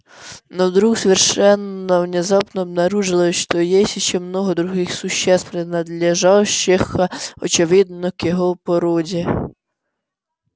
но вдруг совершенно внезапно обнаружилось что есть ещё много других существ принадлежащих очевидно к его породе